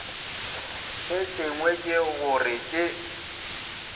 se sengwe ke gore ke